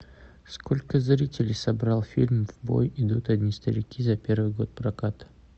сколько зрителей собрал фильм в бой идут одни старики за первый год проката